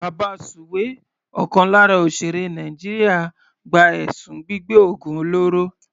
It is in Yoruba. Babasuwe ọ̀kan lára òsèèré Nàìjíríà gba ẹ̀sùn gbígbẹ́ ògùn olóró.